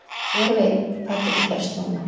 Hver veit hvað getur gerst núna?